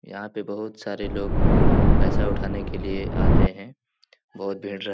यहां पे बहुत सारे लोग पैसा उठाने के लिए आते है बहुत भीड़ --